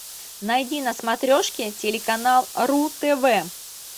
найди на смотрешке телеканал ру тв